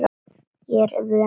Ég er vön þessu.